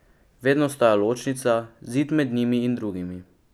Vedno ostaja ločnica, zid med njim in drugimi.